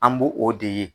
An b'o o de ye